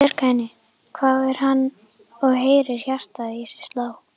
Bjarga henni? hváir hann og heyrir hjartað í sér slá.